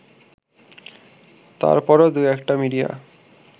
তারপরও ২/১টা মিডিয়া